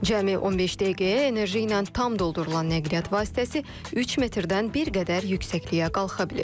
Cəmi 15 dəqiqəyə enerji ilə tam doldurulan nəqliyyat vasitəsi 3 metrdən bir qədər yüksəkliyə qalxa bilir.